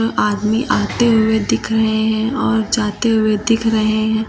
आदमी आते हुए दिख रहे हैं और जाते हुए दिख रहे हैं।